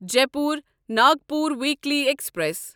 Jaipur Nagpur weekly express